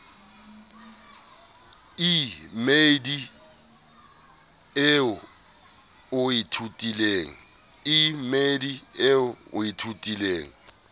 e mmedi eo o ithutileng